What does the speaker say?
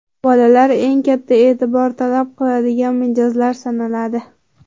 Bolalar eng katta e’tibor talab qiladigan mijozlar sanaladi.